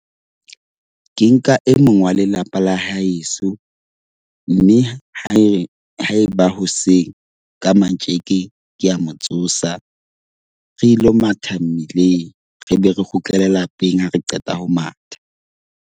Ke nka e mong wa lelapa la haeso. Mme ha e haeba hoseng ka matjeke, ke a mo tsosa. Re ilo matha mmileng, re be re kgutlele lapeng ha re qeta ho matha.